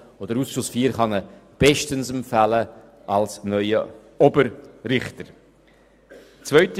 Der Ausschuss IV kann ihn bestens als neuen Oberrichter empfehlen.